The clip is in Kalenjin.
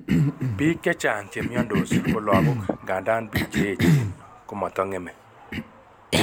Biik chechang' cnemyondos ko lagok, ngandan biik cheyechen komotong'eme